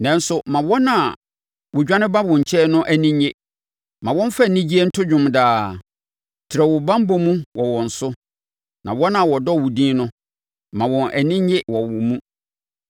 Nanso, ma wɔn a wɔdwane ba wo nkyɛn no ani nnye; ma wɔmfa anigyeɛ nto dwom daa. Trɛ wo banbɔ mu wɔ wɔn so, na wɔn a wɔdɔ wo din no ma wɔn ani nnye wɔ wo mu.